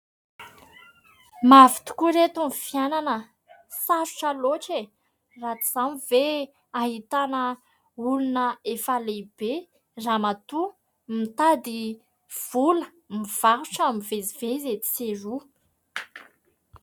Mafy tokoa ry ireto ny fiainana, sarotra loatra e ! Raha tsy izany ve ahitana olona efa lehibe, Ramatoa mitady vola mivarotra mivezivezy etsy sy eroa.